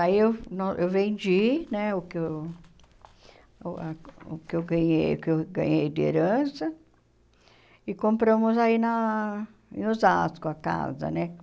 Aí eu não eu vendi né o que eu uh ah o que eu ganhei o que eu ganhei de herança e compramos aí na em Osasco a casa, né?